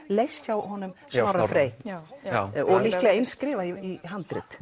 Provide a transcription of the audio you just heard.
leyst hjá Snorra Frey og líklega eins skrifað í handrit